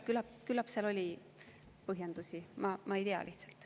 Küllap seal oli põhjendusi, ma ei tea neid lihtsalt.